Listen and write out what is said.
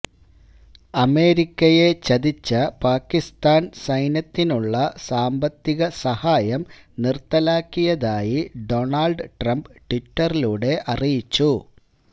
അമേരിക്കയെ ചതിച്ച പാക്കിസ്ഥാന് സൈന്യത്തിനുളള സാമ്പത്തിക സഹായം നിര്ത്തലാക്കിയതായി ഡൊണാള്ഡ് ട്രംപ് ട്വിറ്ററിലുടെ അറിയിച്ചു